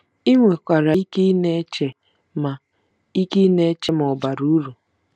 I nwekwara ike ịna-eche ma ike ịna-eche ma ọ̀ bara uru.